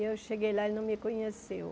Eu cheguei lá e ele não me conheceu.